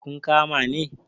kun kama ne?